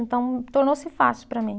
Então, tornou-se fácil para mim.